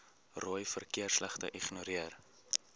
rooi verkeersligte ignoreer